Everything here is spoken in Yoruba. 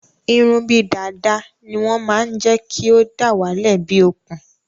Irun bíi dàda ní wọn máa n jékí o dawale bíi okùn